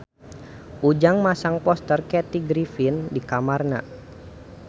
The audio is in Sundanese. Ujang masang poster Kathy Griffin di kamarna